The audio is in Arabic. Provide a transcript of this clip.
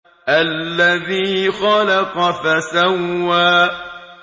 الَّذِي خَلَقَ فَسَوَّىٰ